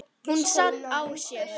Hún sat á sér.